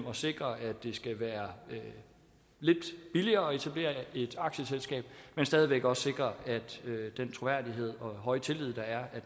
at sikre at det skal være lidt billigere at etablere et aktieselskab men stadig væk også sikre at den troværdighed og høje tillid der er